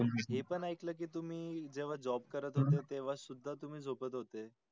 हे पण ऐकल कि तुम्ही जेव्हा job करत होत तेव्हा सुधा तुम्ही झोपत होते.